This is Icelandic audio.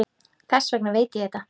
Þess vegna veit ég þetta.